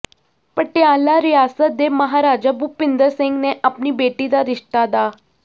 ਪਟਿਆਲਾ ਰਿਆਸਤ ਦੇ ਮਹਾਰਾਜਾ ਭੁਪਿੰਦਰ ਸਿੰਘ ਨੇ ਅਪਣੀ ਬੇਟੀ ਦਾ ਰਿਸ਼ਤਾ ਡਾ